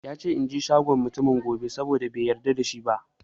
Yace inje shagon mutumin gobe, saboda bai yarda da shi ba